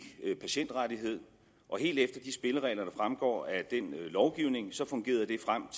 patientrettighed og helt efter de spilleregler der fremgår af den lovgivning så fungerede det frem